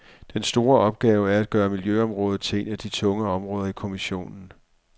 Den store opgave er at gøre miljøområdet til et af de tunge områder i kommissionen.